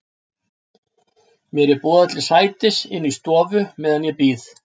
Mér er boðið til sætis inni í stofu meðan ég bíð.